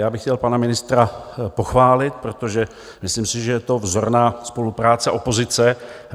Já bych chtěl pana ministra pochválit, protože myslím si, že je to vzorná spolupráce opozice.